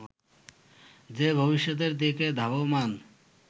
যে ভবিষ্যতের দিকে ধাবমান